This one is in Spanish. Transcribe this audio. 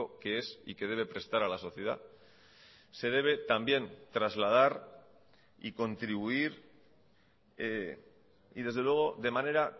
que es y que debe prestar a la sociedad se debe también trasladar y contribuir y desde luego de manera